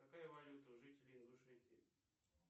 какая валюта у жителей ингушетии